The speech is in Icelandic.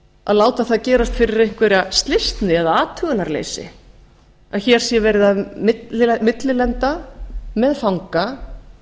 að láta það gerast fyrir einhverja slysni eða athugunarleysi að hér sé verið að millilenda með fanga